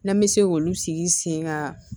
N'an bɛ se k'olu sigi sen kan